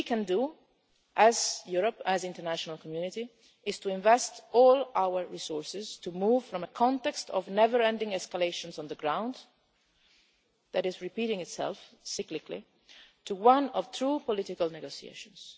What we can do as Europe, as the international community, is to invest all our resources, to move from a context of never ending escalation on the ground, which is repeating itself cyclically, to one of true political negotiations.